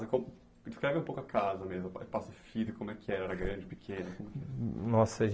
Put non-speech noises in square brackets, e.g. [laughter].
[unintelligible] Descreve um pouco a casa mesmo, espaço físico, como é que era, era grande, pequeno? Nossa